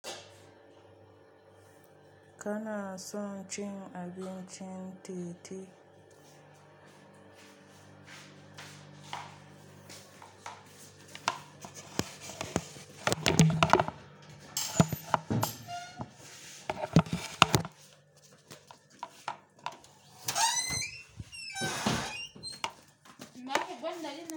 Kana son cin abincin titi?